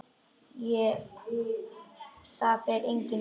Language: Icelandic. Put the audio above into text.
Það fer enginn út!